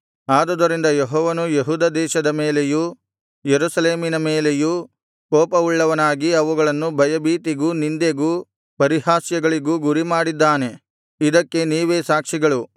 ಆದುದರಿಂದ ಯೆಹೋವನು ಯೆಹೂದ ದೇಶದ ಮೇಲೆಯೂ ಯೆರೂಸಲೇಮಿನ ಮೇಲೆಯೂ ಕೋಪವುಳ್ಳವನಾಗಿ ಅವುಗಳನ್ನು ಭಯಭೀತಿಗೂ ನಿಂದೆಗೂ ಪರಿಹಾಸ್ಯಗಳಿಗೂ ಗುರಿಮಾಡಿದ್ದಾನೆ ಇದಕ್ಕೆ ನೀವೇ ಸಾಕ್ಷಿಗಳು